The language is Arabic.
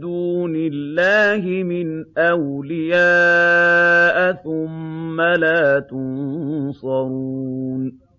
دُونِ اللَّهِ مِنْ أَوْلِيَاءَ ثُمَّ لَا تُنصَرُونَ